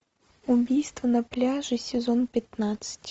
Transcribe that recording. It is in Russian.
убийство на пляже сезон пятнадцать